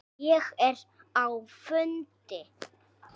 Ég er á fundi